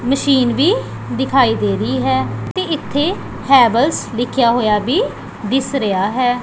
Machine ਵੀ ਦਿਖਾਈ ਦੇ ਰਹੀ ਹੈ ਤੇ ਇੱਥੇ ਹੈਵਲਸ ਲਿੱਖਿਆ ਹੋਇਆ ਵੀ ਦਿੱਸ ਰਿਹਾ ਹੈ।